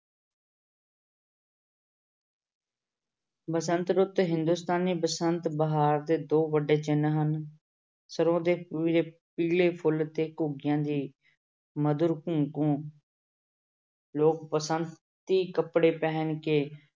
ਬਸੰਤ ਰੁੱਤ ਹਿੰਦੁਸਤਾਨੀ ਬਸੰਤ ਬਹਾਰ ਦੇ ਦੋ ਵੱਡੇ ਚਿੰਨ ਹਨ ਸਰੋਂ ਦੇ ਪੀਲੇ ਫੁੱਲ ਤੇ ਘੁੱਗੀਆਂ ਦੀ ਮਧੁਰ ਘੂੰ ਘੂੰ ਲੋਕ ਬਸੰਤੀ ਕੱਪੜੇ ਪਹਿਨ ਕੇ